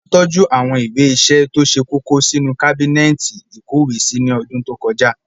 A tọ́jú àwọn ìwé ìṣe tó ṣe kókó sínú kábínẹ́ẹ̀tì ìkówèé sí ní ọdún tó kọjá